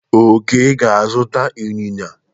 Oke ga-azụta inyinya.